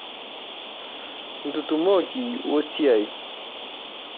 Ntutumokoki we siai.